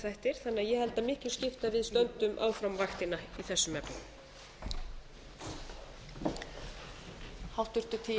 þættir þannig að ég held að miklu skipti að við stöndum áfram vaktina í þessum efnum